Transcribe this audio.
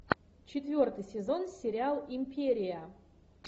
четвертый сезон сериал империя